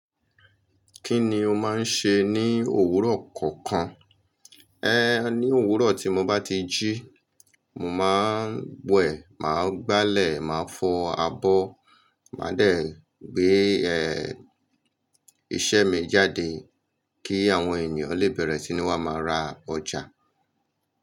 Kí ni o máa ń ṣe ní òwúrọ̀ kọ̀ọ̀kan? Ní òwúrọ̀ tí mo bá ti jí, mo máa ń wẹ̀, máa gbálẹ̀, máa fọ abọ́, màá dẹ̀ gbé iṣẹ́ mi jáde kí àwọn ènìyàn lè bẹ̀rẹ̀ sí ní wá máa ra ọjà.